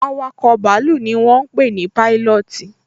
Awakọ̀ bàálù ni wọ́n ń pé ní Pailọọti